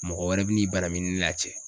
Mɔgɔ wɛrɛ bi n'i banamini ne n'a cɛ.